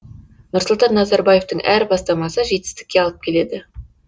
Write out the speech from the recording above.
нұрсұлтан назарбаевтың әр бастамасы жетістікке алып келеді